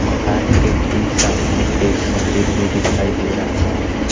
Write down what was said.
मकान के ठीक सामने एक मंदिर भी दिखाई दे रहा है।